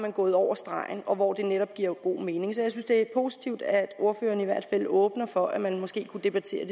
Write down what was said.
er gået over stregen og hvor det netop giver god mening så jeg synes det er positivt at ordføreren i hvert fald åbner op for at man måske kunne debattere